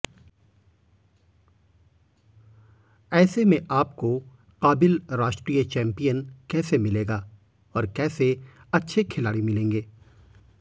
ऐसे में आपको काबिल राष्ट्रीय चैंपियन कैसे मिलेगा और कैसे अच्छे खिलाड़ी मिलेंगे